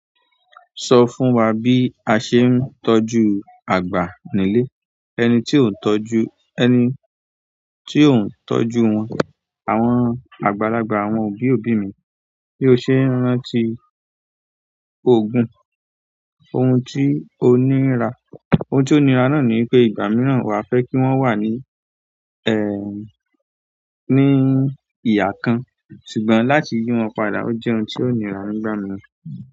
Sọ fún wa bí a ṣe ń tọ́jú àgbà nílé, ẹni tí ò ń tọ́jú, ẹni tí ò ń tọ́jú wọn, àwọn àgbàlagbà, àwọn òbí òbí mi. Bí o ṣe rántí òògùn, ohun tí ó nira, ohun tí ó nira náà ni pé ìgbà mìíràn wà fẹ́ kí wọ́n wà ní ní ìhà kan, ṣùgbọ́n láti yí wọn padà ó jẹ́ ohun tí ó nira nígbà mìíràn.